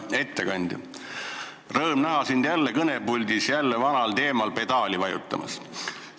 Hea ettekandja, rõõm näha sind jälle kõnepuldis vanal teemal pedaali vajutamas.